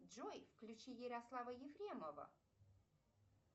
джой включи ярослава ефремова